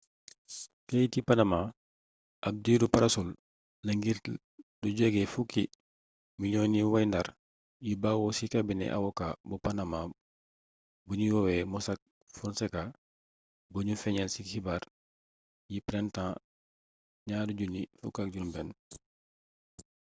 keyiti panama ab diiru parasol la ngir lu jege fukki miliyoŋi wayndare yu bawoo ci kabinet awoka bu panama buñuy woowee mossack fonseca buñu feeñal ci xibaar yi printemps 2016